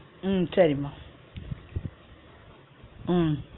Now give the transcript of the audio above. உம் சரிம்மா உம்